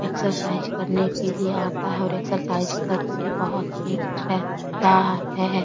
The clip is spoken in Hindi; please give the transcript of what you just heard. एक्सरसाइज करने के लिए आता है और एक्सरसाइज करके बहुत फिट रहता है।